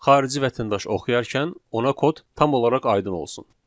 Xarici vətəndaş oxuyarkən ona kod tam olaraq aydın olsun.